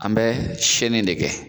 An bɛ siyɛnni de kɛ